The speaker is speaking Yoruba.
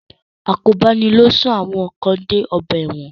Àkóbá ni ó sún àwọn kan dé ọgbà ẹ̀wọ̀n.